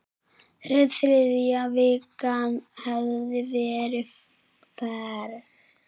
Þriðja vikan hefði verið verst.